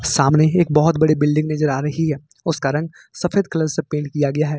सामने एक बहुत बड़ी बिल्डिंग नजर आ रही है उसका रंग सफेद कलर से पेंट किया हुआ है।